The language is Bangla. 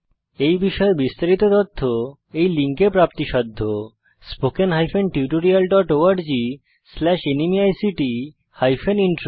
এই বিষয়ে বিস্তারিত তথ্য এই লিঙ্কে প্রাপ্তিসাধ্য spoken hyphen tutorial dot org slash NMEICT hyphen intro